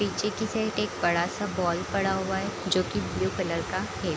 पीछे की साइड के एक बड़ा सा बॉल पड़ा हुआ है जो की ब्लू कलर का है।